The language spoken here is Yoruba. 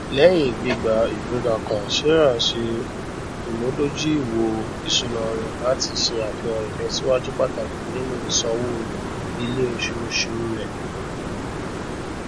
lẹyìn gbígbà ìgbẹgà kan sarah ṣe ìmúdójúìwò isúnà rẹ láti ṣe àfihàn ìlòsíwájú pàtàkì nínú ìsanwó iléoṣooṣu rẹ